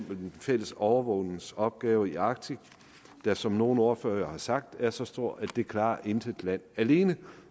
den fælles overvågningsopgave i arktis der som nogle ordførere har sagt er så stor at det klarer intet land alene